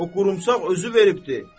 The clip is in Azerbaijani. O qorumsaq özü veribdir.